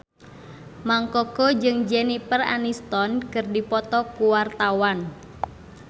Mang Koko jeung Jennifer Aniston keur dipoto ku wartawan